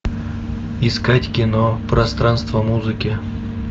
искать кино пространство музыки